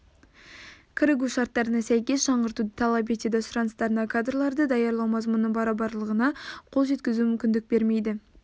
кірігу шарттарына сәйкес жаңғыртуды талап етеді сұраныстарына кадрларды даярлау мазмұнының барабарлығына қол жеткізуге мүмкіндік бермейді